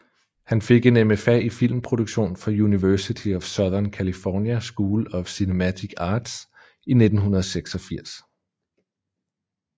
Han fik en MFA i filmproduktion fra University of Southern California School of Cinematic Arts i 1986